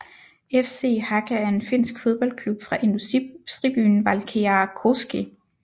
FC Haka er en finsk fodboldklub fra industribyen Valkeakoski